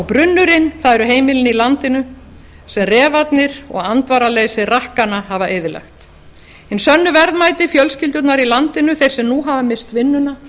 brunnurinn eru heimilin í landinu sem refarnir og andvaraleysi rakkanna hafa eyðilagt hin sönnu verðmæti fjölskyldunnar í landinu þeir sem nú hafa misst vinnuna og